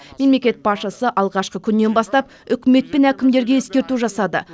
мемлекет басшысы алғашқы күннен бастап үкімет пен әкімдерге ескерту жасады